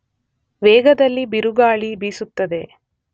ವೇಗದಲ್ಲಿ ಬಿರುಗಾಳಿ ಬೀಸುತ್ತದೆ.